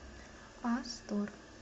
астор